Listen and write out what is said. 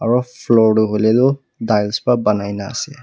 aro floor tuh hoile tuh tiles ba banaina ase.